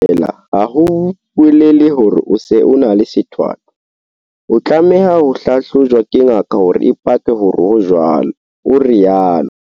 Ho ba le tsitsipano ha nngwe feela ha ho bolele hore o se o na le sethwathwa. O tlameha ho hlahlojwa ke ngaka hore e pake hore ho jwalo, o rialo.